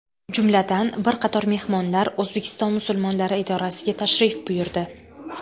Jumladan, bir qator mehmonlar O‘zbekiston musulmonlari idorasiga tashrif buyurdi.